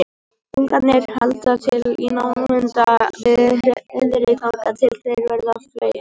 ungarnir halda til í námunda við hreiðrið þangað til þeir verða fleygir